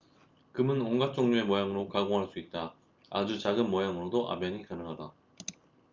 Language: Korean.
금은 온갖 종류의 모양으로 가공할 수 있다 아주 작은 모양으로도 압연이 가능하다